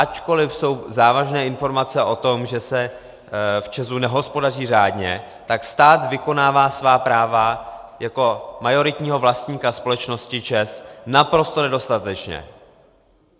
Ačkoliv jsou závažné informace o tom, že se v ČEZu nehospodaří řádně, tak stát vykonává svá práva jako majoritního vlastníka společnosti ČEZ naprosto nedostatečně.